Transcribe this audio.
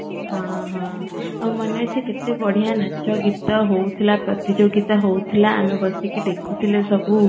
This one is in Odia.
ହଁ ହଁ ଆଉ ମନେ ଅଛି କେତେ ବଢିଆ ନାଚ ଗୀତ ହଉଥିଲା ପ୍ରତିଯୋଗୀତା ହଉଥିଲା ଆମେ ବସିକି ଦେଖୁଥିଲେ ସବୁ